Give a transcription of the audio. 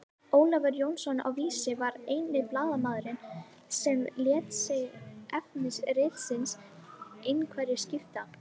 Ólafur Jónsson á Vísi var eini blaðamaðurinn sem lét sig efni ritsins einhverju skipta.